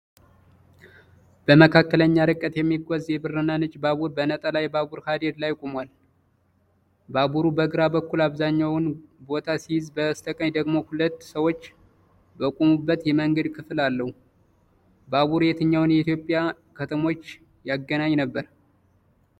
በመካከለኛ ርቀት የሚጓዝ የብርና ነጭ ባቡር፣ በነጠላ የባቡር ሐዲድ ላይ ቆሟል። ባቡሩ በግራ በኩል አብዛኛውን ቦታ ሲይዝ፣ በስተቀኝ ደግሞ ሁለት ሰዎች በቆሙበት የመንገድ ክፍል አለው። ባቡሩ የትኛውን የኢትዮጵያ ከተሞች ያገናኝ ነበር?